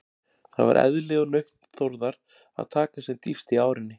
Það var eðli og nautn Þórðar að taka sem dýpst í árinni.